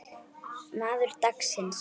Maður dagsins?